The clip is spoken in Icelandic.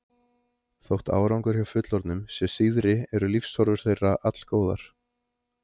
Þótt árangur hjá fullorðnum sé síðri eru lífshorfur þeirra allgóðar.